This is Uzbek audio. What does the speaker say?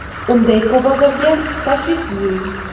Unda Ekobozorga tashrif buyuring!